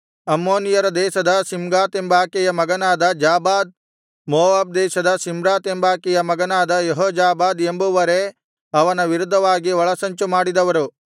ಅಮ್ಮೋನಿಯರ ದೇಶದ ಶಿಮ್ಗಾತೆಂಬಾಕೆಯ ಮಗನಾದ ಜಾಬಾದ್ ಮೋವಾಬ್ ದೇಶದ ಶಿಮ್ರಾತೆಂಬಾಕೆಯ ಮಗನಾದ ಯೆಹೋಜಾಬಾದ್ ಎಂಬುವರೇ ಅವನ ವಿರುದ್ಧವಾಗಿ ಒಳಸಂಚು ಮಾಡಿದವರು